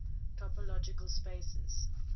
topological spaces